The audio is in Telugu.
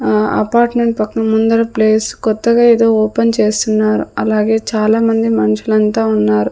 ఆ అపార్ట్మెంట్ పక్కన ముందర ప్లేస్ కొత్తగా ఏదో ఓపెన్ చేస్తున్నారు అలాగే చాలా మంది మనుషులంతా ఉన్నారు.